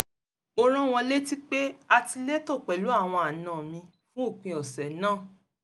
mo rán wọn létí pé a ti létò pẹ̀lú àwọn àna mi fún òpin ọ̀sẹ̀ náà